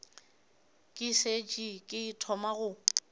ke šetše ke thoma go